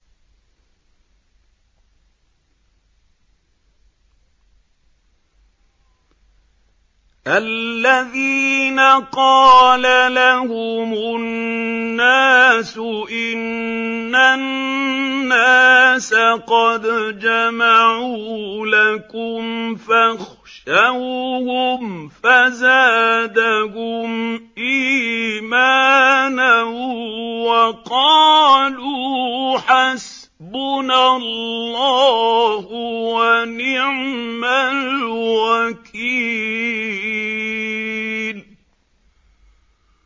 الَّذِينَ قَالَ لَهُمُ النَّاسُ إِنَّ النَّاسَ قَدْ جَمَعُوا لَكُمْ فَاخْشَوْهُمْ فَزَادَهُمْ إِيمَانًا وَقَالُوا حَسْبُنَا اللَّهُ وَنِعْمَ الْوَكِيلُ